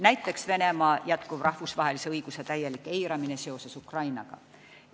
Näiteks võib tuua tõsiasja, et Venemaa eirab oma tegutsemisega Ukrainas täielikult rahvusvahelist õigust.